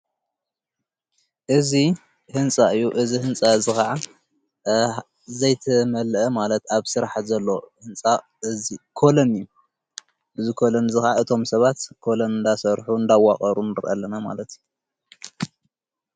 እዙ ሕንፃ እዩ እዝ ሕንፃ ዝኸዓ ዘይተመልአ ማለት ኣብ ሥራሕ ዘሎ ሕንፃ እዙ ኮለን እዩ ብዝ ኮሎን ዝኻዓ እቶም ሰባት ኮሎን ንዳሠርኁ እንዳዋቐሩን ርአለና ማለት እዩ።